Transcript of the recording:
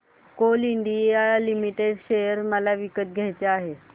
Coal India Limited share मला विकत घ्यायचे आहेत